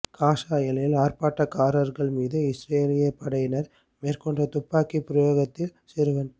Gaza எல்லையில் ஆர்ப்பாட்டக்காரர்கள் மீது இஸ்ரேலிய படையினர் மேற்கொண்ட துப்பாக்கி பிரயோகத்தில் சிறுவன்